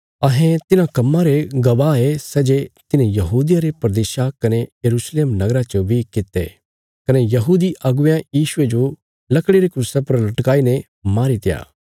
अहें तिन्हां कम्मां रे गवाह ये सै जे तिन्हें यहूदिया रे प्रदेशा कने यरूशलेम नगरा च बी कित्ते कने यहूदी अगुवेयां यीशुये जो लकड़िया रे क्रूसा पर लटकाईने मारीत्या